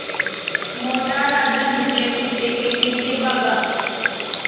मोटा राजा दुबले कुत्ते के पीछे भागा